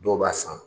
Dɔw b'a san